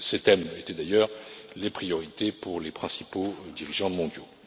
Ces thèmes étaient d'ailleurs les priorités pour les principaux dirigeants mondiaux.